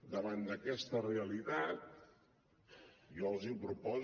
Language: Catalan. davant d’aquesta realitat jo els proposo